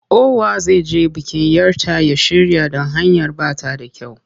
Kowa zai je bikin 'yar ta ya shirya don hanyar ba ta da kyau.